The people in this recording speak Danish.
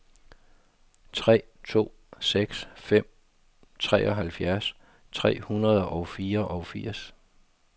tre to seks fem treoghalvfjerds tre hundrede og fireogfirs